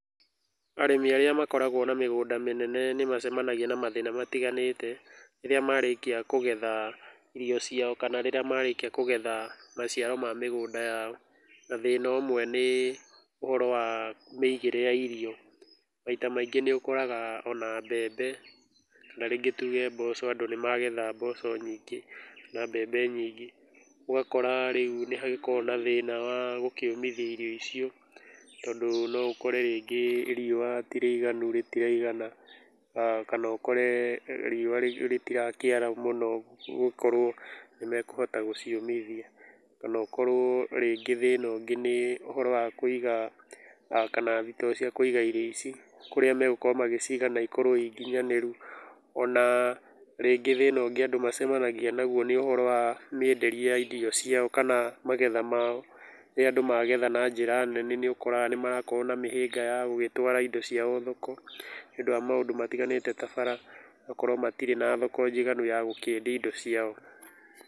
Arĩmi arĩa makoragwo na mĩgũnda mĩnene nĩmacemanagia na mathĩna matiganĩte rĩrĩa marĩkia kũgetha irio ciao kana rĩrĩa marĩki kũgetha maciaro ma mĩgũnda yao, na thĩna ũmwe nĩ ũhoro wa mĩigĩre ya irio. Maita maingĩ nĩũkoraga ona mbembe, kana rĩngĩ tuge mboco andũ nĩmagetha mboco nyingĩ na mbembe nyingĩ, ũgakora rĩu nĩhagĩkoragwo na thĩna wa gũkĩũmithia irio icio tondũ noũkore rĩngĩ riũa ti rĩiganu, rĩtiraigana kana ũkore riũa rĩtirakĩara mũno gũkorwo nĩmekũhota gũciũmithia, kana ũkorwo rĩngĩ thĩna ũngĩ nĩ ũhoro wa kũiga kana thitoo cia kũiga irio ici, kũrĩa magũkorwo magĩciga na ikorwo i nginyanĩru. Ona rĩngĩ thĩna ũngĩ andũ magĩcemanagia naguo nĩ ũhoro wa mĩenderie ya indo icio ciao kana magetha mao. Rĩrĩa andũ magetha na njĩra nene, nĩũkoraga nĩmaragĩkorwo na mĩhĩnga ya gĩgĩtwara indo ciao thoko nĩũndũ wa maũndũ matiganĩte ta bara, gũkorwo matirĩ na thoko njiganu ya gũgĩkĩendia indo ciao.